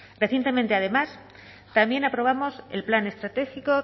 recientemente además también aprobamos el plan estratégico